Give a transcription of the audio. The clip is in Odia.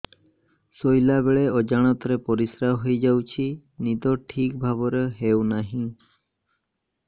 ଶୋଇଲା ବେଳେ ଅଜାଣତରେ ପରିସ୍ରା ହୋଇଯାଉଛି ନିଦ ଠିକ ଭାବରେ ହେଉ ନାହିଁ